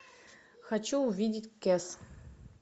хочу увидеть кес